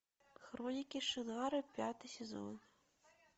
хроники шаннары пятый сезон